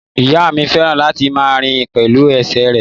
Ìyá mi fẹ́ràn láti máa rìn pẹ̀lú ẹsẹ̀ rẹ̀.